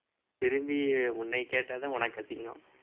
திரும்பி உன்னைய கேட்டாதான் உனக்கு அசிங்கம்